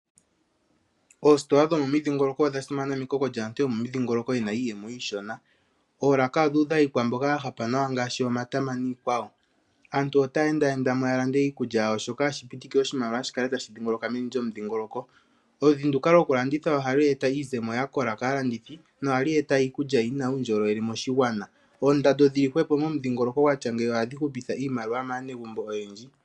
Oositola dhomomidhingoloko odha simana mekoko lyaantu yomomidhingoloko ye na iiyemo iishona. Oolaka odhuudha iikwamboga ya hapa nawa ngaashi omatama niikwawo. Aantu otaya enda enda mo ya lande iikulya yawo. Shoka hashi pitike oshimaliwa shi kale tashi dhingoloka meni lyomudhingoloko. Oludhi nduka lokulanditha ohalu eta iizemo ya kola kaalandithi nohali eta iikulya yi na uundjolowele moshigwana. Oondando dhi li hwepo momudhingoloko gwa tya ngeyi ohadhi hupitha iimaliwa maanegumbo oyendji.